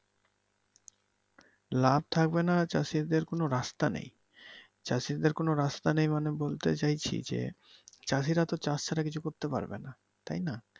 লাভ থাকবেনা চাষিদের কোন রাস্তা নেই, চাষিদের কোন রাস্তা নেই মানে বলতে চাইছি যে, চাষিরা তো চাষ ছাড়া কিছু করতে পারবে নাহ তাইনা।